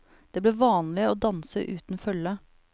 Det ble vanlig å danse uten følge.